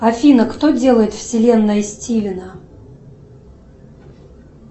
афина кто делает вселенная стивена